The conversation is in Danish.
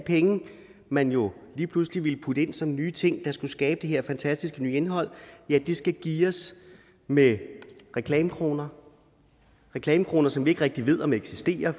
man jo lige pludselig ville putte ind som nye ting der skulle skabe det her fantastiske nye indhold skal geares med reklamekroner reklamekroner som vi ikke rigtig ved om eksisterer